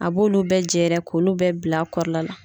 A b'olu bɛ jɛɛrɛ k'olu bɛ bila a kɔrɔ la la.